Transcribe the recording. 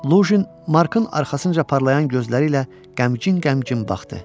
Lujin, Markın arxasınca parlayan gözləri ilə qəmginc-qəmginc baxdı.